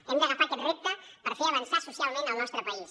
hem d’agafar aquest repte per fer avançar socialment el nostre país